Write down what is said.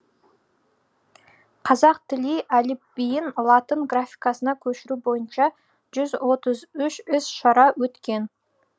қазақ тілі әліпбиін латын графикасына көшіру бойынша жүз отыз үш іс шара өткен